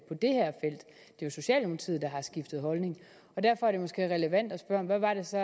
jo socialdemokratiet der har skiftet holdning og derfor er det måske relevant at spørge hvad var det så